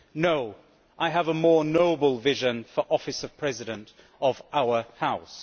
No, I have a more noble vision for the office of President of our House.